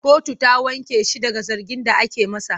Kotu ta wanke shi daga zargin da ake masa.